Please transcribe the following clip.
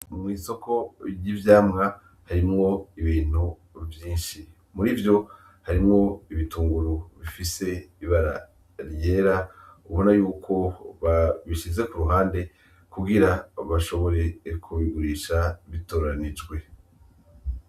Mw'isoko ry'ivyamwa harimwo ibintu vyinshi, murivyo harimwo ibitunguru bifise ibara ryera ubona yuko babishize kuruhande kugira bashobore kubigurisha bitoranijwe.